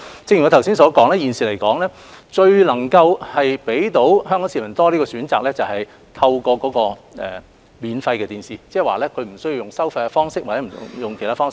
正如我剛所說，目前最能讓香港市民有更多選擇的方法，是透過免費電視台轉播，即市民不需要付費或透過其他方式收看。